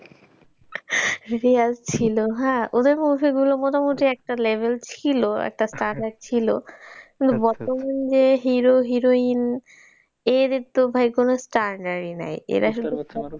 real ছিল হ্যাঁ ওদের movie গুলি মোটামুটি একটা level ছিল, একটা standard ছিল কিন্তু বর্তমান যে hero heroine এর তো ভাই কোন standard ই নাই।